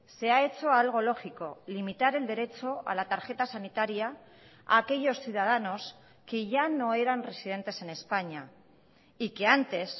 se ha hecho algo lógico limitar el derecho a la tarjeta sanitaria a aquellos ciudadanos que ya no eran residentes en españa y que antes